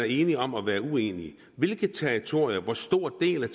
enige om at være uenige hvilke territorier og hvor stor en del af